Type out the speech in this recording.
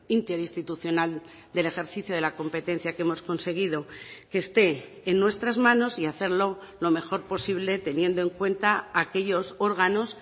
interinstitucional del ejercicio de la competencia que hemos conseguido que esté en nuestras manos y hacerlo lo mejor posible teniendo en cuenta aquellos órganos